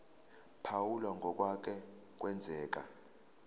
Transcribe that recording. phawula ngokwake kwenzeka